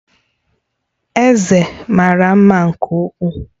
Eze mara mma nke ukwuu